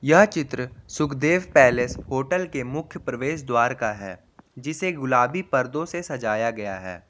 यह चित्र Sukhdev palace hotel के मुख्य प्रवेश द्वार का है जिसे गुलाबी पर्दों से सजाया गया है।